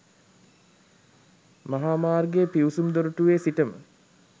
මහා මාර්ගයේ පිවිසුම් දොරටුවේ සිටම